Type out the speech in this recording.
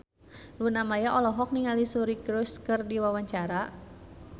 Luna Maya olohok ningali Suri Cruise keur diwawancara